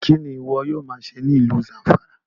Kini iwọ yoo ma ṣe ni ilu Zamfara?